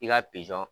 I ka pizɔn